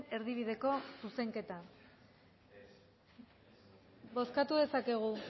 erdibideko zuzenketa bozkatu dezakegu